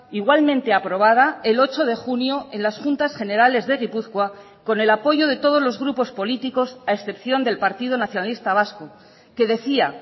igualmente aprobada el ocho de junio en las juntas generales de gipuzkoa con el apoyo de todos los grupos políticos a excepción del partido nacionalista vasco que decía